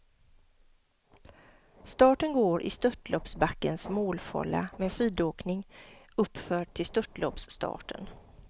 Starten går i störtloppsbackens målfålla med skidåkning uppför till störtloppsstarten.